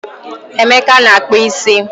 Emeka na-akpụ isi